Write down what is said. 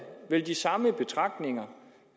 vigtigt